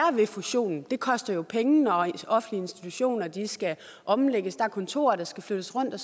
ved fusionen det koster jo penge når offentlige institutioner skal omlægges der er kontorer der skal flyttes rundt og